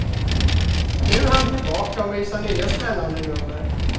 Nu är han tillbaka och visar nya, spännande nummer.